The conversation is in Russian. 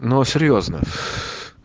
но серьёзно